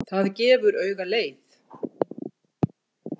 Það gefur auga leið.